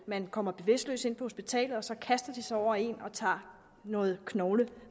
man kommer bevidstløs ind på hospitalet og så kaster de sig over én og tager noget knoglemarv